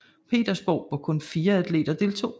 Petersborg hvor kun 4 atleter deltog